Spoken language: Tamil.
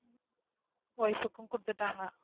wife கும் கொடுத்துட்டாங்க.